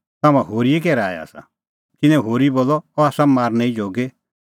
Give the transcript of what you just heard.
तम्हां होरीए कै राऐ आसा तिन्नैं होरी बोलअ अह आसा मारनै ई जोगी